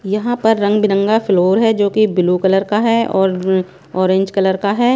यहाँ पर रंग बिरंगा फ्लोर हैं जो कि ब्लू कलर का हैं और ऑरेंज कलर का हैं।